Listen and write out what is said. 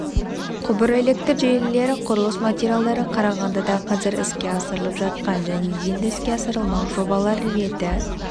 құбыр электр желілері құрылыс материалдары қарағандыда қазір іске асырылып жатқан және енді іске асырылмақ жобалар реті